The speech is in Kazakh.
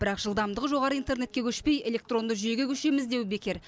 бірақ жылдамдығы жоғары интернетке көшпей электронды жүйеге көшеміз деу бекер